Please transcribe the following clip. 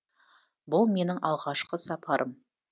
бұл менің алғашқы сапарым